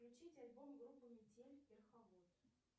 включить альбом группы метель верховод